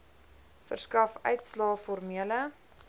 verskaf uitslae formele